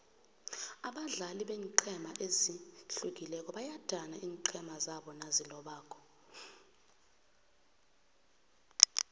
abadlali beenqhema ezihlukileko bayadana iinqhema zabo nazilobako